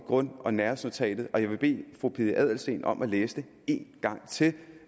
i grund og nærhedsnotatet og jeg vil bede fru pia adelsteen om at læse det en gang til